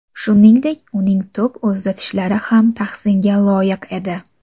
Shuningdek, uning to‘p uzatishlari ham tahsinga loyiq edi.